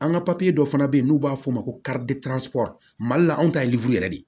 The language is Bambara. An ka dɔ fana bɛ yen n'u b'a fɔ o ma ko mali la anw ta ye yɛrɛ de ye